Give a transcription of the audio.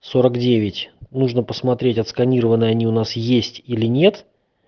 сорок девять нужно посмотреть отсканированные они у нас есть или нет